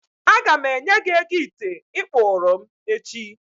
A gam enye gi ego ite ị kpụụrụ m echi